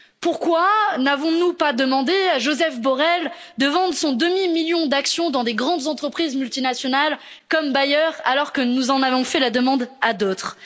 Pourquoi n'avons nous pas demandé à Josep Borrell de vendre son demi million d'actions dans des grandes entreprises multinationales, comme Bayer, alors que nous en avons fait la demande à d'autres?